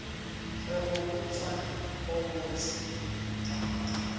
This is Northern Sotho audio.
re go utswa go bose